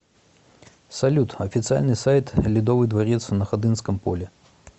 салют официальный сайт ледовый дворец на ходынском поле